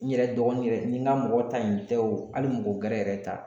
N yɛrɛ dɔgɔnin yɛrɛ n ka mɔgɔ ta in tɛ wo hali mɔgɔ gɛrɛ yɛrɛ ta.